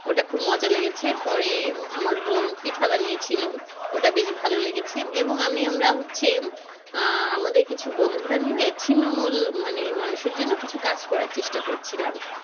ওটা খুব মজা লেগেছে পরে আমার বোন পিঠা বানিয়ে ছিল ওটা বেশ ভালো লেগেছে এবং আমি আমরা হচ্ছে আহ আমাদের কিছু বন্ধুরা মিলে ছিন্নমূল মানে মানুষের জন্য কিছু কাজ করার চেষ্টা করছিলাম।